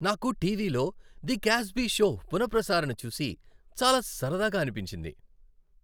నాకు టీవీలో "the Cosby show" పునఃప్రసారణ చూసి చాలా సరదాగా అనిపించింది.